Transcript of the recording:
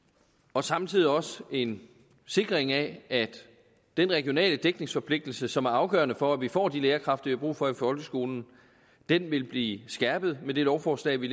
og samtidig også en sikring af at den regionale dækningsforpligtelse som er afgørende for at vi får de lærerkræfter vi har brug for i folkeskolen vil blive skærpet med det lovforslag vi